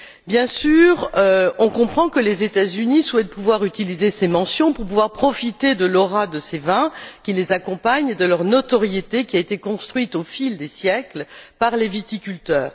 Bien sûr, on comprend que les États Unis souhaitent pouvoir utiliser ces mentions pour profiter de l'aura de ces vins qui les accompagne, de leur notoriété qui a été construite au fil des siècles par les viticulteurs.